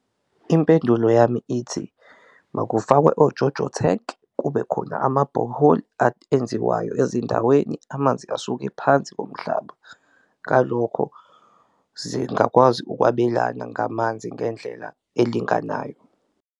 Impendulo yami ithi makufakwe oJoJo tank kube khona amabhoholi enziwayo ezindaweni amanzi asuke phansi komhlaba, ngalokho zingakwazi ukwabelana ngamanzi ngendlela elinganayo.